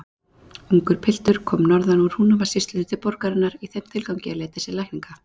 Ungur piltur kom norðan úr Húnavatnssýslu til borgarinnar í þeim tilgangi að leita sér lækninga.